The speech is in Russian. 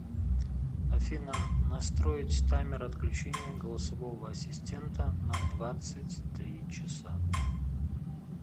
афина настроить таймер отключения голосового ассистента на двадцать три часа